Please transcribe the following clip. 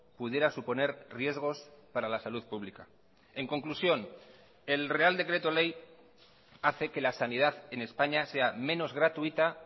pudiera suponer riesgos para la salud pública en conclusión el real decreto ley hace que la sanidad en españa sea menos gratuita